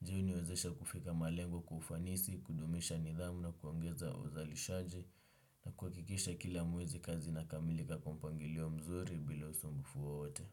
Ju hii huniwezesha kufika malengo kwa kufanisi, kudumisha nidhamu na kuongeza uzalishaji na kuhakikisha kila mwezi kazi inakamilika kwa mpangilio mzuri bila usumbufu wowote.